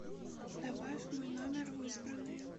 добавь мой номер в избранные